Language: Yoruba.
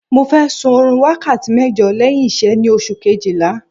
Mo fẹ́ sun oorun wákàtí mẹ́jọ lẹ́yìn iṣẹ́ yìí ni oṣù kejìlá